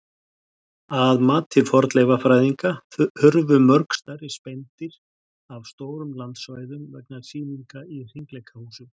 Að mati fornleifafræðinga hurfu mörg stærri spendýr af stórum landsvæðum vegna sýninga í hringleikahúsunum.